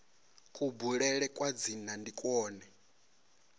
kubulele kwa dzina ndi kwone